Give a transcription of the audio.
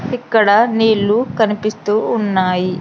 ఇక్కడ నీళ్ళు కనిపిస్తూ ఉన్నాయి.